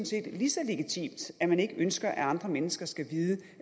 set lige så legitimt at man ikke ønsker at andre mennesker skal vide